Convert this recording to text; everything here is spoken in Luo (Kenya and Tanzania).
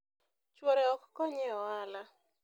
chuore ok konye e ohala